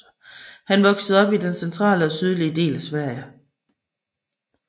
Han voksede op i den centrale og sydlige del af Sverige